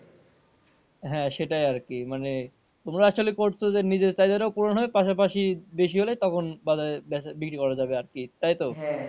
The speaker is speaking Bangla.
হ্যাঁ সেটাই আরকি মানে তোমরা আসলে করছো যে নিজের চাহিদা টাও পুরন হবে পাশাপাশি বেশি হলে তখন বাজারে বেচা, বিক্রি করা যাবে আরকি তাইতো?